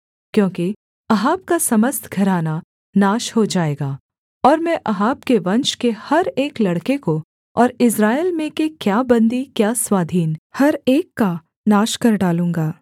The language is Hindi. क्योंकि अहाब का समस्त घराना नाश हो जाएगा और मैं अहाब के वंश के हर एक लड़के को और इस्राएल में के क्या बन्दी क्या स्वाधीन हर एक का नाश कर डालूँगा